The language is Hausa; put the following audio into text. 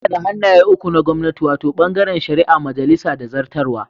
Muna da hannaye uku na gwamnati, wato, bangaren shari'a, majalisa da zartarwa.